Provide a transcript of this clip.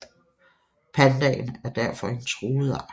Pandaen er derfor en truet art